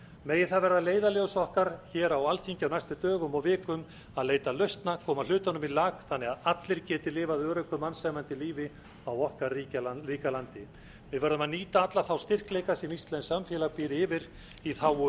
megi það verða leiðarljós okkar hér á alþingi á næstu dögum og vikum að leita lausna koma hlutunum í lag þannig að allir geti lifað öruggu og mannsæmandi lífi á okkar ríka landi við verðum að nýta alla þá styrkleika sem íslenskt samfélag býr yfir í þágu